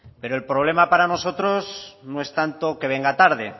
pero el problema para nosotros no es tanto que venga tarde